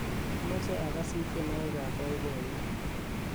amoche agasit tyenwogik ab boiboiyet